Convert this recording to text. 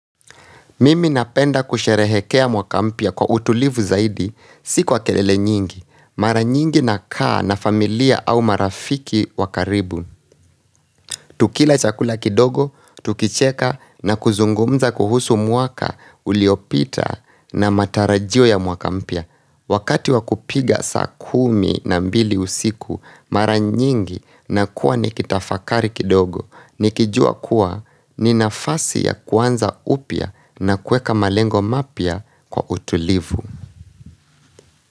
Mimi napenda kusherehekea mwaka mpya kwa utulivu zaidi, si kwa kelele nyingi. Mara nyingi nakaa na familia au marafiki wa karibu. Tukila chakula kidogo, tukicheka na kuzungumza kuhusu mwaka uliopita na matarajio ya mwaka mpya. Wakati wakupiga saa kumi na mbili usiku, mara nyingi nakuwa nikitafakari kidogo. Nikijua kuwa ni nafasi ya kuanza upya na kueka malengo mapya kwa utulivu.